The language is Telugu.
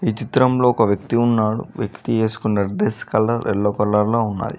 ఈ చిత్రంలో ఒక వ్యక్తి ఉన్నాడు వ్యక్తి ఏసుకున్న డ్రెస్ కలర్ ఎల్లో కలర్ లో ఉన్నాది.